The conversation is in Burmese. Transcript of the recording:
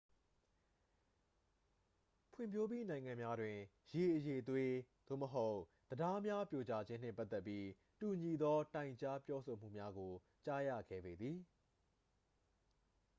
ဖွံ့ဖြိုးပြီးနိုင်ငံများတွင် ရေအရည်အသွေး သို့မဟုတ် တံတားများပြိုကျခြင်းနှင့် ပတ်သက်ပြီး တူညီသော တိုင်ကြားပြောဆိုမှုမျာကို ကြားရခဲပေသည်